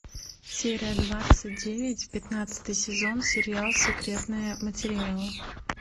серия двадцать девять пятнадцатый сезон сериал секретные материалы